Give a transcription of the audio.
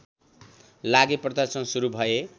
लागि प्रदर्शन सुरु भए